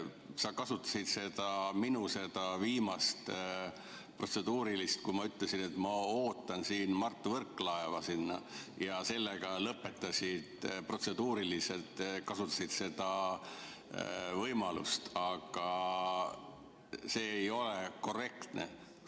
Sa kasutasid minu seda viimast protseduurilist, kui ma ütlesin, et ma ootan Mart Võrklaeva sinna, ja sellega lõpetasid, sa protseduuriliselt kasutasid seda võimalust, aga see ei ole korrektne.